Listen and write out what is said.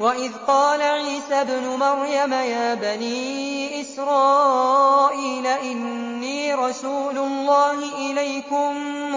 وَإِذْ قَالَ عِيسَى ابْنُ مَرْيَمَ يَا بَنِي إِسْرَائِيلَ إِنِّي رَسُولُ اللَّهِ إِلَيْكُم